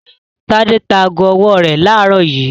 Tádé ta ago-ọwọ́ rẹ̀ láàárọ̀ yìí.